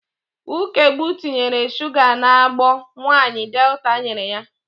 Ukegbu tinyere shuga n'agbo nwaanyị Delta nyere ya.